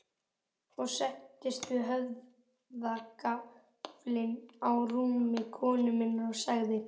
Ég settist við höfðagaflinn á rúmi konu minnar og sagði